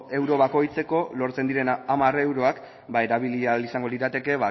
euro bakoitzeko lortzen diren hamar euroak erabili ahal izango lirateke